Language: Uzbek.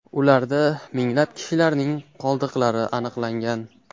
Ularda minglab kishilarning qoldiqlari aniqlangan.